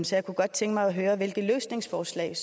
så jeg kunne godt tænke mig at høre hvilke løsningsforslag